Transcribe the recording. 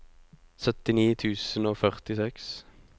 syttini tusen og førtiseks